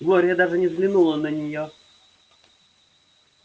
глория даже не взглянула на неё